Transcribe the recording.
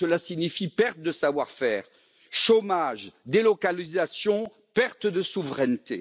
Parce que cela signifie perte de savoir faire, chômage, délocalisation et perte de souveraineté.